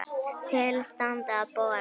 Til standi að bora.